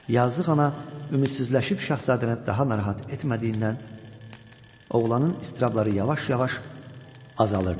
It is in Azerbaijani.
Yazıq ana ümidsizləşib şahzadəni daha narahat etmədiyindən oğlanın istirabları yavaş-yavaş azalırdı.